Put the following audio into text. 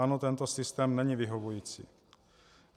Ano, tento systém není vyhovující.